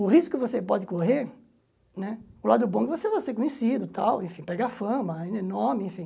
O risco que você pode correr né, o lado bom é que você vai ser conhecido, tal, enfim, pega fama, nome, enfim.